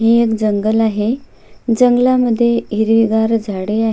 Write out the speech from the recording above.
हे एक जंगल आहे जंगला मध्ये हिरवी गार झाड आहे.